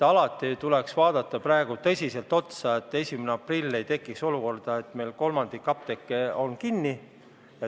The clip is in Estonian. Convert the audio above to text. Praegu tuleks tõsiselt vaadata, et 1. aprillil ei tekiks olukorda, et meil kolmandik apteeke on kinni.